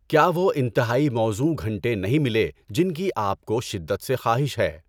کیا وہ انتہائی موزوں گھنٹے نہیں ملے جن کی آپ کو شدت سے خواہش ہے؟